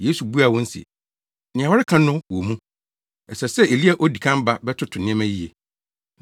Yesu buaa wɔn se, “Nea wɔreka no wɔ mu. Ɛsɛ sɛ Elia di kan ba bɛtoto nneɛma yiye.